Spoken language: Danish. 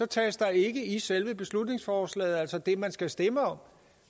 tages der ikke i selve beslutningsforslaget altså det man skal stemme om